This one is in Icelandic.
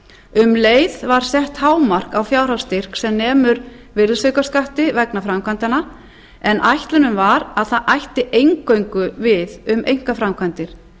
um leið var sett hámark á fjárhagsstyrk sem nemur virðisaukaskatti vegna framkvæmdanna en ætlunin var að það ætti eingöngu við um einkaframkvæmdir